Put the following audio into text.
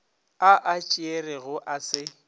a a tšerego a se